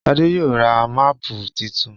Shade yóò rá Máàpù títún.